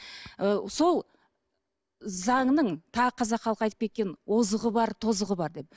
ы сол заңның тағы қазақ халқы айтып кеткен озығы бар тозығы бар деп